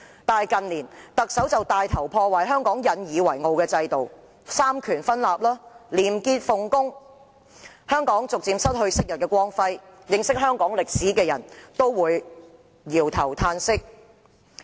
反之，近年特首帶頭破壞香港引以為傲的制度、三權分立和廉潔奉公，香港逐漸失去昔日的光輝，認識香港歷史的人都會搖頭歎息。